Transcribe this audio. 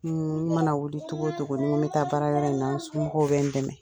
N mana wuli cogo o cogo n ko n bɛ taa baara yɔrɔ in na, n somɔgɔw bɛ n dɛmɛ.